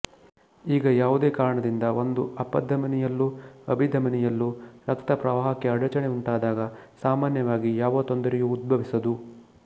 ಈಗ ಯಾವುದೇ ಕಾರಣದಿಂದ ಒಂದು ಅಪಧಮನಿಯಲ್ಲೊ ಅಭಿಧಮನಿಯಲ್ಲೊ ರಕ್ತಪ್ರವಾಹಕ್ಕೆ ಅಡಚಣೆ ಉಂಟಾದಾಗ ಸಾಮಾನ್ಯವಾಗಿ ಯಾವ ತೊಂದರೆಯೂ ಉದ್ಭವಿಸದು